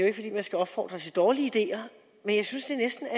ikke fordi man skal opfordre til dårlige ideer men jeg synes